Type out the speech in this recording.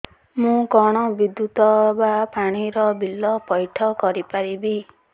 ମୁ କଣ ବିଦ୍ୟୁତ ବା ପାଣି ର ବିଲ ପଇଠ କରି ପାରିବି